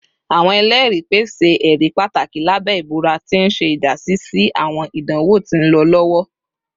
Awọn ẹlẹri pese ẹri pataki labẹ ibura, ti n ṣe idasi si awọn idanwo ti nlọ lọwọ